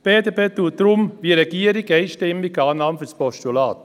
Die BDP macht es darum wie die Regierung: einstimmig, Annahme als Postulat.